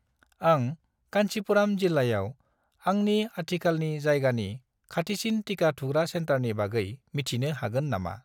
आं कान्चीपुराम जिल्लायाव आंनि आथिखालनि जायगानि खाथिसिन टिका थुग्रा सेन्टारनि बागै मिथिनो हागोन नामा?